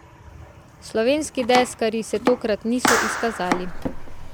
Slovenski deskarji se tokrat niso izkazali.